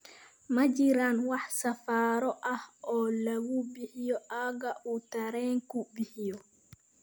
Ma jiraan wax safarro ah oo lagu gaadho aagga uu tareenku bixiyo